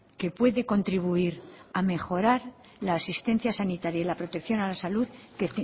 que puede contribuir a mejorar la asistencia sanitaria y la protección a la salud que